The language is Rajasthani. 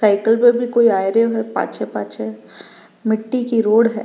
साइकिल पे भी कोई आयरा है पाछे पाछ मिट्टी की रोड है।